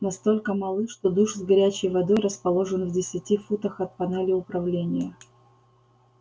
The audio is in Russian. настолько малы что душ с горячей водой расположен в десяти футах от панели управления